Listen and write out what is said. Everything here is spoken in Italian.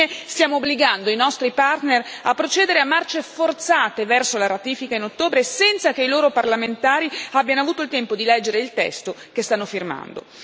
Infine stiamo obbligando i nostri partner a procedere a marce forzate verso la ratifica in ottobre, senza che i loro parlamentari abbiano avuto il tempo di leggere il testo che stanno firmando.